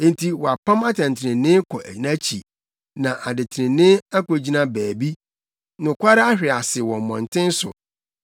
Enti wɔapam atɛntrenee kɔ nʼakyi, na adetrenee akogyina baabi; nokware ahwe ase wɔ mmɔnten so nokwaredi ntumi mma mu.